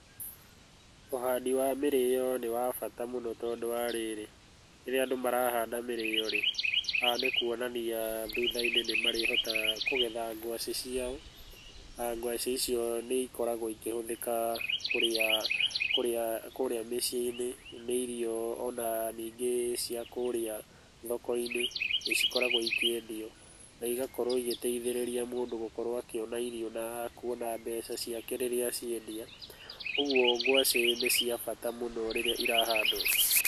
Ũhandi wa mĩrĩo ni wa bata mũno tondũ wa rĩrĩ, rĩrĩa andũ marahanda mĩrĩo rĩ, haha nĩ kuonania thutha-inĩ nĩ marĩhotaga kũgetha ngwacĩ ciao, na ngwacĩ icio nĩ ikoragwo ikĩhũthĩka kũrĩa, kũrĩa, kũrĩa mĩciĩ-inĩ, nĩ irio ona ningĩ cia kũrĩa thoko-inĩ, nĩ cikoragwo ikĩendio na igakorwo igĩteithĩrĩria mũndũ gũkorwo akĩona irio na kuona mbeca ciake rĩrĩa ciendio. Ũguo ngwacĩ nĩ cia bata mũno rĩrĩa irahandwo.